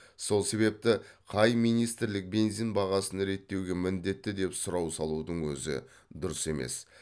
сол себепті қай министрлік бензин бағасын реттеуге міндетті деп сұрау салудың өзі дұрыс емес